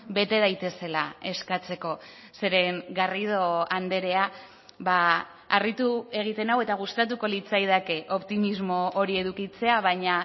bete daitezela eskatzeko zeren garrido andrea harritu egiten nau eta gustatuko litzaidake optimismo hori edukitzea baina